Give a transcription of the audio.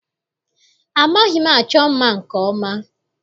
Amaghị m achọ mma nke ọma.